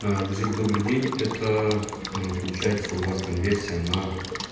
гузель добрый день это получается у вас конверсия на